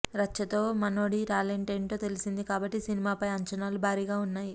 రచ్చతో మనోడి టాలెంట్ ఏంటో తెలిసింది కాబట్టి సినిమాపై అంచనాలు భారీగా ఉన్నాయి